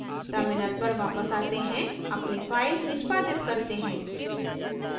terminal पर वापस आते हैं अपनी file निष्पादित करते हैं